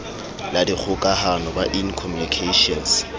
la dikgokahano ba in communications